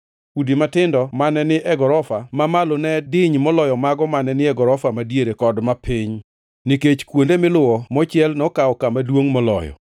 Udi matindo mane ni e gorofa ma malo ne diny moloyo mago mane ni e gorofa madiere kod mapiny ma piny, nikech kuonde miluwo mochiel nokawo kama duongʼ moloyo.